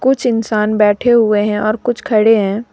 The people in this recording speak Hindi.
कुछ इंसान बैठे हुए हैं और कुछ खड़े हैं।